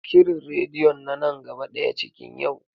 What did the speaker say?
Shirin radeyon na nan gaba ɗaya cikin yau.